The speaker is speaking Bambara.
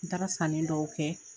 N taara sanni dɔw kɛ.